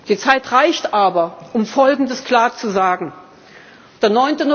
Die Zeit reicht aber, um Folgendes klar zu sagen